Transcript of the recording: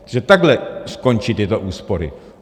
Takže takhle skončí tyto úspory.